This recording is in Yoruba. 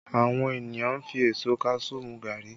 Àwọn ènìyàn fi èso kaṣuú mu gàárì